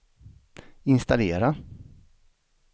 installera